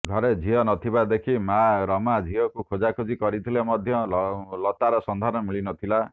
ଘରେ ଝିଅ ନଥିବା ଦେଖି ମାଆ ରମା ଝିଅକୁ ଖୋଜା ଖୋଜି କରିଥିଲେ ମଧ୍ୟ ଲତାର ସନ୍ଧାନ ମିଳିନଥିଲା